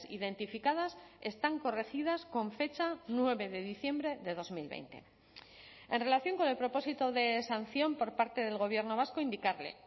identificadas están corregidas con fecha nueve de diciembre de dos mil veinte en relación con el propósito de sanción por parte del gobierno vasco indicarle